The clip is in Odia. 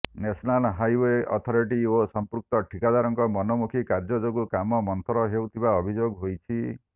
ନ୍ୟାସନାଲ ହାଇେଓ୍ବ ଅଥରିଟି ଓ ସଂପୃକ୍ତ ଠିକାଦାରଙ୍କ ମନୋମୁଖୀ କାର୍ଯ୍ୟ ଯୋଗୁଁ କାମ ମନ୍ଥର ହେଉଥିବା ଅଭିଯୋଗ ହୋଇଛି